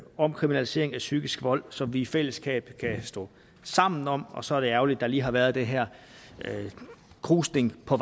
om kriminalisering af psykisk vold som vi i fællesskab kan stå sammen om og så er det ærgerligt at der lige har været den her krusning på